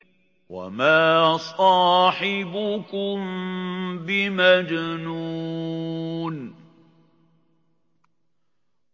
وَمَا صَاحِبُكُم بِمَجْنُونٍ